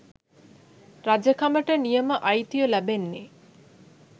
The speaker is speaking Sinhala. රජකමට නියම අයිතිය ලැබෙන්නේ